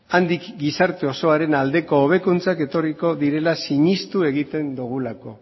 handik gizarte osoaren aldeko hobekuntzak etorriko direla sinestu egiten dugulako